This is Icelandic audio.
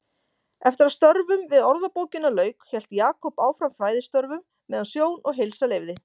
Eftir að störfum við Orðabókina lauk hélt Jakob áfram fræðistörfum meðan sjón og heilsa leyfði.